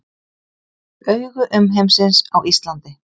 Augu umheimsins á Íslandi